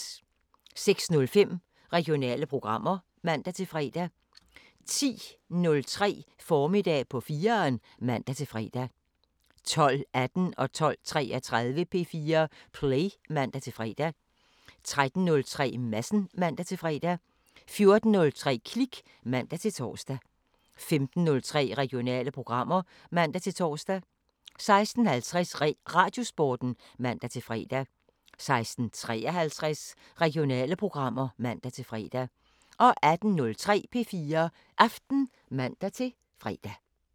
06:05: Regionale programmer (man-fre) 10:03: Formiddag på 4'eren (man-fre) 12:18: P4 Play (man-fre) 12:33: P4 Play (man-fre) 13:03: Madsen (man-fre) 14:03: Klik (man-tor) 15:03: Regionale programmer (man-tor) 16:50: Radiosporten (man-fre) 16:53: Regionale programmer (man-fre) 18:03: P4 Aften (man-fre)